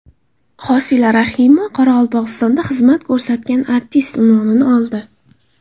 Hosila Rahimova Qoraqalpog‘istonda xizmat ko‘rsatgan artist unvonini oldi.